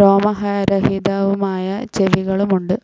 രോമരഹിതവുമായ ചെവികളും ഉണ്ട്.